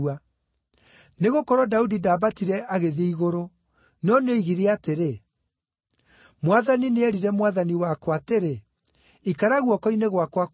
Nĩgũkorwo Daudi ndaambatire agĩthiĩ igũrũ, no nĩoigire atĩrĩ, “ ‘Mwathani nĩeerire Mwathani wakwa atĩrĩ: “Ikara guoko-inĩ gwakwa kwa ũrĩo,